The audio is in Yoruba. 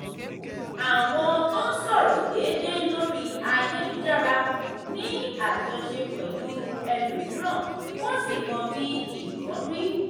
àwọn tó ń sọ̀rọ̀ déédéé lórí ayélujára ní àjọṣe pẹ̀lú ẹlòmíràn wọ́n sì mọ bí nǹkan rí.